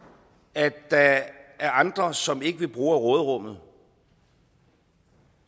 at der er andre som ikke vil bruge af råderummet